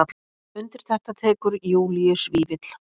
Undir þetta tekur Júlíus Vífill.